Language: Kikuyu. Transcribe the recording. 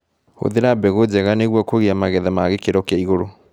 Hũthira mbegũ njega nĩguo kũgia magetha ma gĩkĩro kĩa igũrũ.